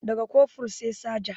Da ga Kofur sai Saja